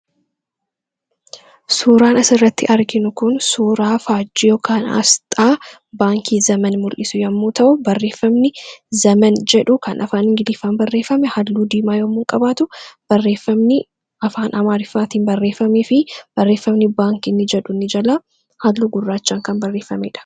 suuraan as irratti arginu kun suuraa faajiyoo kan aasxaa baankii zaman mul'isu yommuu ta'u barreeffamni zaman jedhu kan afaan giliiffan barreeffame halluu diimaa yommuu qabaatu barreeffamni afaan amaariffaatiin barreeffamnii fi barreeffamni baankiini jedhu nijalaa halluu gurraachaan kan barreeffameedha